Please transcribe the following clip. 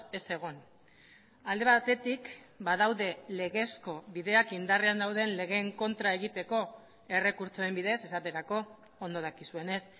ez egon alde batetik badaude legezko bideak indarrean dauden legeen kontra egiteko errekurtsoen bidez esaterako ondo dakizuenez